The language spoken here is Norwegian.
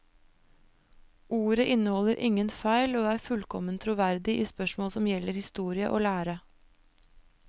Ordet inneholder ingen feil, og er fullkomment troverdig i spørsmål som gjelder historie og lære.